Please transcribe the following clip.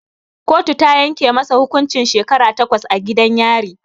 Kotu ta yanke masa hukuncin shekara takwas a gidan yari